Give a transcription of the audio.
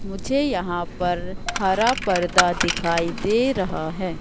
मुझे यहां पर हर पर्दा दिखाई दे रहा है।